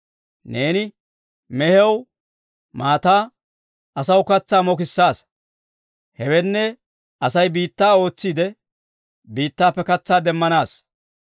Neeni mehiyaw maataa, asaw katsaa mokissaasa. Hewenne, Asay biittaa ootsiide, biittaappe katsaa demanaassa.